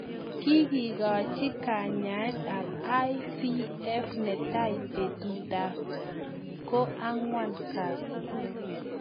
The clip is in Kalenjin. Kikikachii kanyaet ap IVF netai petut ap ko angwan kasiit